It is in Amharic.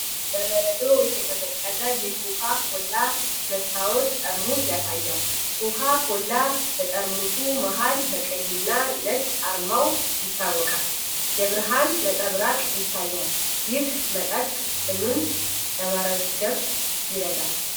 በበረዶ የተቀዘቀዘ የኮካ ኮላ መስታወት ጠርሙስ ያሳያል። ኮካ ኮላ በጠርሙሱ መሃል በቀይና ነጭ አርማው ይታወቃል። የብርሃን ነጸብራቅ ይታያል። ይህ መጠጥ ጥምን ለማርገብ ይረዳል?